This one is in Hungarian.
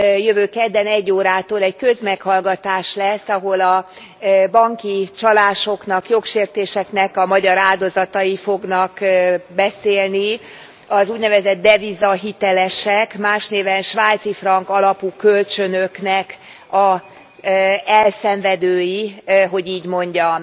Jövő kedden egy órától egy közmeghallgatás lesz, ahol a banki csalásoknak, jogsértéseknek a magyar áldozatai fognak beszélni, az úgynevezett devizahitelesek, más néven svájci frank alapú kölcsönöknek az elszenvedői, hogy így mondjam.